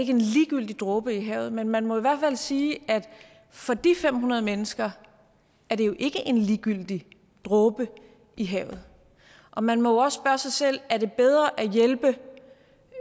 ikke en ligegyldig dråbe i havet men man må jo i hvert fald sige at for de fem hundrede mennesker er det jo ikke en ligegyldig dråbe i havet og man må spørge sig selv er det bedre